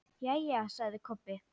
Jæja, sagði Kobbi.